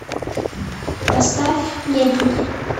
поставь недруги